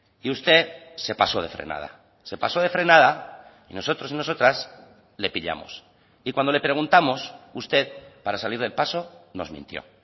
y usted se pasó de frenada se pasó de frenada y nosotros y nosotras le pillamos y cuando le preguntamos usted para salir del paso nos mintió